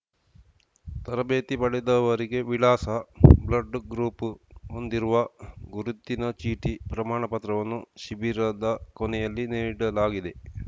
ತರಬೇತಿ ಪಡೆದವರಿಗೆ ವಿಳಾಸ ಬ್ಲಡ್‌ಗ್ರೂಪ್‌ ಹೊಂದಿರುವ ಗುರುತಿನ ಚೀಟಿ ಪ್ರಮಾಣಪತ್ರವನ್ನು ಶಿಬಿರದ ಕೊನೆಯಲ್ಲಿ ನೀಡಲಾಗಿದೆ